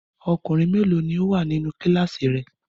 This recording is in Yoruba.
Ọkùnrin mélòó ni ó wà nínú kíláàsì rẹ?